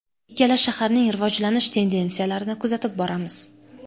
Ikkala shaharning rivojlanish tendensiyalarini kuzatib boramiz.